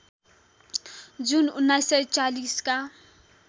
जुन १९४० का